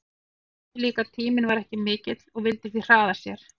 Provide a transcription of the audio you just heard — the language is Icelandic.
En hann vissi líka að tíminn var ekki mikill og vildi því hraða sér.